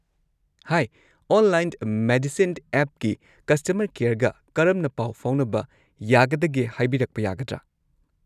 ꯍꯥꯏ, online medicine ꯑꯦꯞꯀꯤ customer ꯀꯦꯌꯔꯒ ꯀꯔꯝꯅ ꯄꯥꯎ ꯐꯥꯎꯅꯕ ꯌꯥꯒꯗꯒꯦ ꯍꯥꯏꯕꯤꯔꯛꯄ ꯌꯥꯒꯗ꯭ꯔꯥ?